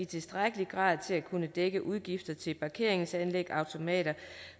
tilstrækkeligt til at kunne dække udgifter til parkeringsanlæg automater